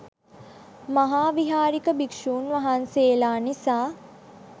මහාවිහාරික භික්‍ෂූන් වහන්සේලා නිසා